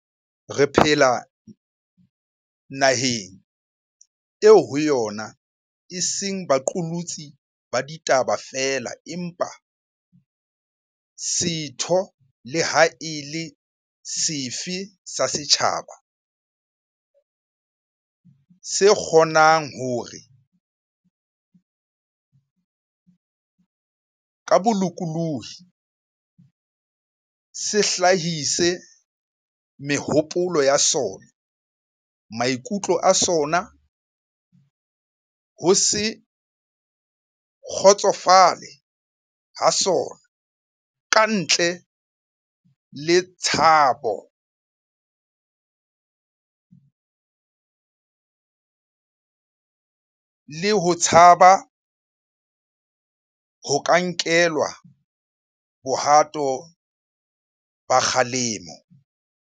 Re phela naheng eo ho yona e seng ba qolotsi ba ditaba feela empa setho le ha e le sefe sa setjhaba se kgo nang hore, ka bolokolohi, se hlahise mehopolo ya sona, maikutlo a sona, ho se kgotsofale ha sona ka ntle le ho tshaba ho nkelwa bohato ba kgalemo.